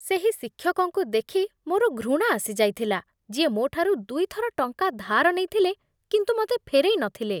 ସେହି ଶିକ୍ଷକଙ୍କୁ ଦେଖି ମୋର ଘୃଣା ଆସି ଯାଇଥିଲା ଯିଏ ମୋଠାରୁ ଦୁଇ ଥର ଟଙ୍କା ଧାର ନେଇଥିଲେ କିନ୍ତୁ ମୋତେ ଫେରେଇ ନଥିଲେ।